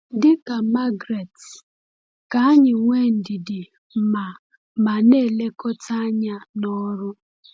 Dị ka Margaret, ka anyị nwee ndidi ma ma na-elekọta anya n’ọrụ.